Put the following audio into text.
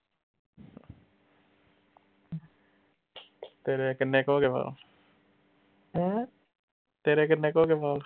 ਤੇਰੇ ਕਿੰਨੇ ਕ ਹੋਗੇ ਵਾਲ ਤੇਰੇ ਕਿੰਨੇ ਕ ਹੋਗੇ ਵਾਲ